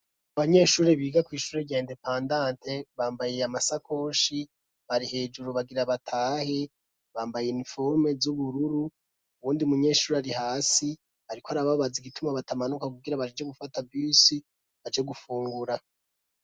Abanyeshuri biga kwishuri rya indepandante bambaye amasakoshi bari hejuru bagira batahe bambaye niforume z'ubururu uwundi munyeshuri ari hasi ariko arababaza igituma batamanuka kugira baje gufata bisi aje gufungura.